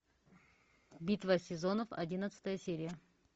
битва сезонов одиннадцатая серия